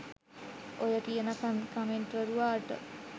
ඔය කියන කමෙන්ට්කරුවාට